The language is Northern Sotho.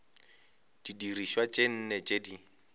didirišwa tše nne tše di